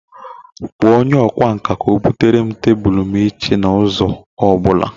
Kpọọ onye ọkwá nkà ka o bute tebụl m echi na ụzọ ọ bụla